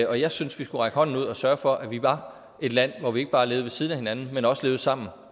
jeg synes vi skulle række hånden ud og sørge for at vi var et land hvor vi ikke bare levede ved siden af hinanden men også levede sammen